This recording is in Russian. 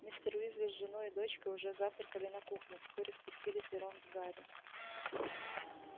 мистер уизли с женой и дочкой уже завтракали на кухне вскоре спустились и рон с гарри